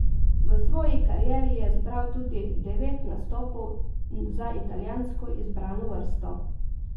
V svoji karieri je zbral tudi devet nastopov za italijansko izbrano vrsto.